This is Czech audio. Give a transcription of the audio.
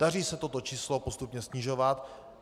Daří se toto číslo postupně snižovat.